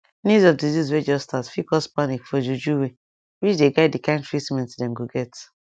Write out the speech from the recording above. news of disease way just start fit cause panic for juju way which dey guide the kind treatment dem go get